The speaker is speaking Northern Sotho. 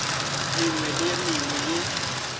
mengwe le ye mengwe ye